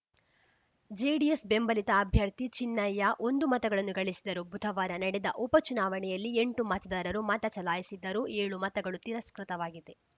JDS ಬೆಂಬಲಿತ ಅಭ್ಯರ್ಥಿ ಚಿನ್ನಯ್ಯ ಒಂದು ಮತಗಳನ್ನು ಗಳಿಸಿದರು ಬುಧವಾರ ನಡೆದ ಉಪ ಚುನಾವಣೆಯಲ್ಲಿಎಂಟು ಮತದಾರರು ಮತ ಚಲಾಯಿಸಿದ್ದರು ಏಳು ಮತಗಳು ತಿರಸ್ಕೃತವಾಗಿವೆ